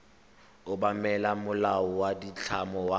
obamela molao wa ditlamo wa